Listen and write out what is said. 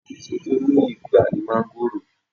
Èsò tó ní ìgbà ní máńgòrò